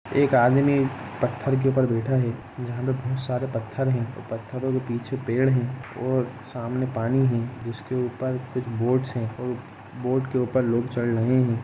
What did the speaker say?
एक आदमी पत्थर के ऊपर बैठा है यहाँ पे बहुत सारे पत्थर है ओर पत्थरो के पीछे पेड़ है और सामने पानी है जिसके ऊपर कुछ बोट्स है और बोट के ऊपर लोग चड रहे है।